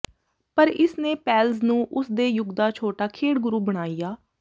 ਪਰ ਇਸ ਨੇ ਪੈਲਜ਼ ਨੂੰ ਉਸਦੇ ਯੁੱਗ ਦਾ ਛੋਟਾ ਖੇਡ ਗੁਰੂ ਬਣਾਇਆ